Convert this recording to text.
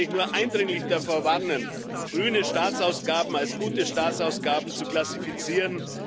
Deswegen kann ich nur eindringlich davor warnen, grüne Staatsausgaben als gute Staatsausgaben zu klassifizieren.